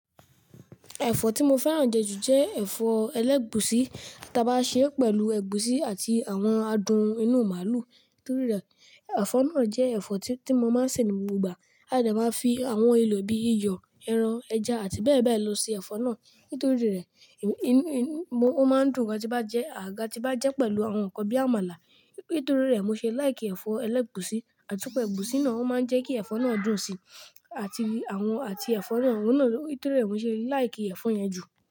Ẹ̀fọ́ tí mo fẹ́ràn jẹ jù jẹ́ ẹ̀fọ́ ẹlẹ́gùúsí tí a bá ṣe pẹ̀lú ẹ̀gúsí àti àwọn adùn inú màlúù. Nítorí rẹ̀, ẹ̀fọ́ náà jẹ́ ẹ̀fọ́ tí mo máa ń sè ní gbogbo ìgbà. A dẹ máa ń fi àwọn èlò bíi iyọ̀, ẹran, ẹja àti bẹ́ẹ̀bẹ́ẹ̀ lọ sè ẹ̀fọ́ náà. Nítorí rẹ̀, ó máa ń dùn gan tí bá jẹ àgàgà tí bá jẹ́ pẹ̀lú àwọn nǹkan bíi àmàlà. Nítorí rẹ̀, mo ṣe like kí ẹ̀fọ́ ẹlẹ́gùúsí, àtipe ẹ̀gúsí náà máa ń jẹ́ kí ẹ̀fọ́ náà dùn síi àti àwọn àti ẹ̀fọ́ náà. Nítorí rẹ̀, mo ṣe like kí ẹ̀fọ́ yẹn jù.